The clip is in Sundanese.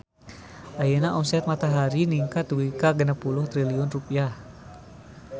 Ayeuna omset Matahari ningkat dugi ka 60 triliun rupiah